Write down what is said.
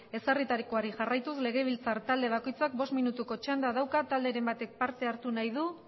ezarritakoari jarraituz legebiltzar talde bakoitzak bost minutuko txanda dauka talderen batek parte hartu nahi du